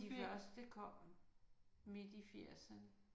De første kom midt i firserne